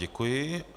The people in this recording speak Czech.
Děkuji.